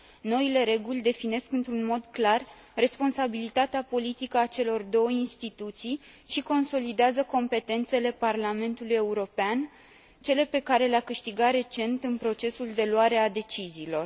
Noile reguli definesc într un mod clar responsabilitatea politică a celor două instituții și consolidează competențele Parlamentului European, cele pe care le a câștigat recent în procesul de luare a deciziilor.